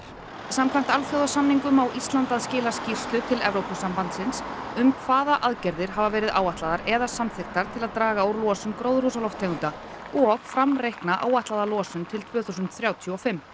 samkvæmt alþjóðasamningum á Ísland að skila skýrslu til Evrópusambandsins um hvaða aðgerðir hafa verið áætlaðar eða samþykktar til að draga úr losun gróðurhúsalofttegunda og framreikna áætlaða losun til tvö þúsund þrjátíu og fimm